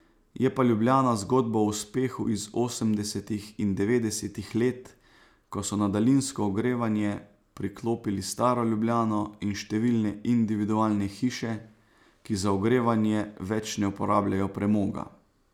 Je pa Ljubljana zgodba o uspehu iz osemdesetih in devetdesetih let, ko so na daljinsko ogrevanje priklopili staro Ljubljano in številne individualne hiše, ki za ogrevanje več ne uporabljajo premoga.